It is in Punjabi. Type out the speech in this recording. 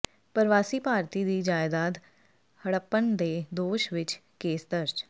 ਪਰਵਾਸੀ ਭਾਰਤੀ ਦੀ ਜਾਇਦਾਦ ਹੜੱਪਣ ਦੇ ਦੋਸ਼ ਵਿੱਚ ਕੇਸ ਦਰਜ